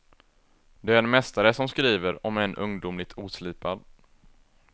Det är en mästare som skriver, om än ungdomligt oslipad.